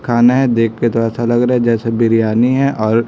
खाना है देखकर तो ऐसा लग रहा है जैसे बिरयानी है और--